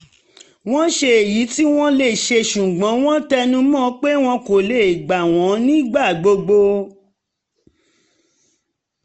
wọ́n ṣe èyí tí wọ́n lè ṣe ṣùgbọ́n wọ́n tẹnu mọ́ pé wọ́n kò lè gba wọ́n nígbà gbogbo